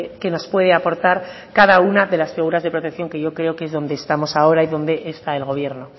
qué nos puede aportar cada una de las figuras de protección que yo creo que es donde estamos ahora y donde está el gobierno